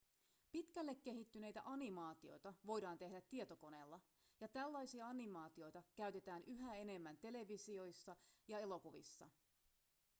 pitkälle kehittyneitä animaatioita voidaan tehdä tietokoneella ja tällaisia animaatioita käytetään yhä enemmän televisiossa ja elokuvissa